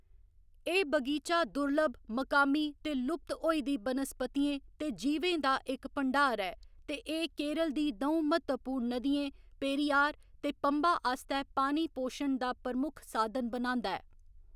एह्‌‌ बगीचा दुर्लभ, मकामी ते लुप्त होई दी बनस्पतियें ते जीवें दा इक भंडार ऐ ते एह्‌‌ केरल दी द'ऊं म्हत्तवपूर्ण नदियें पेरियार ते पम्बा आस्तै पानी पोशन दा प्रमुख साधन बनांदा ऐ।